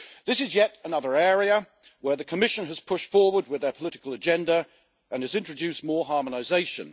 This is yet another area where the Commission has pushed forward with their political agenda and has introduced more harmonisation.